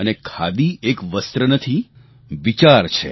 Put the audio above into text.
અને ખાદી એક વસ્ત્ર નથી વિચાર છે